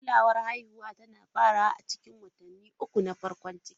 Kulawar haihuwa tana farawa a cikin watanni uku na farkon ciki.